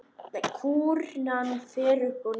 Kúrfan fer upp og niður.